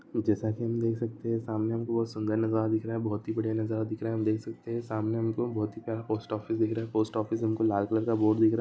जैसा की हम देख सकते हैं सामने हमको बहुत सुन्दर नज़ारा दिखरा है हम देख सकते हैं सामने हमको बहुत ही प्यारा पोस्ट ऑफिस दिख रहा है पोस्ट फिस हमको लाल कलर का दिखरा है